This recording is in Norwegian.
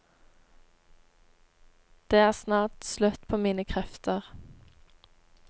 Det er snart slutt på mine krefter.